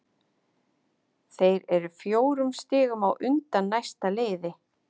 Þeir eru fjórum stigum á undan næsta liði.